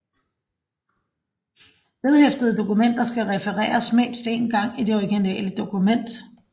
Vedhæftede dokumenter skal refereres mindst én gang i det originale dokument